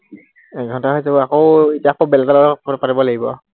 এঘন্টা হৈ যাব, আকৌ এতিয়া আকৌ বেলেগৰ লগত পাতিব লাগিব আৰু